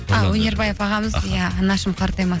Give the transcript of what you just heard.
а өнербаев ағамыз иә анашым қартайма